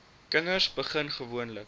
kinders begin gewoonlik